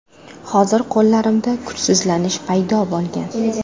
Hozir qo‘llarimda kuchsizlanish paydo bo‘lgan.